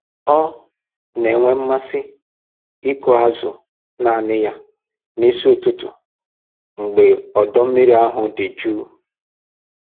Ọ na-enwe mmasị ịkụ azụ naanị ya n'isi ụtụtụ mgbe ọdọ mmiri ahụ dị jụụ